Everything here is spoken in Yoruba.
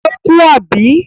Ó kú, àbí?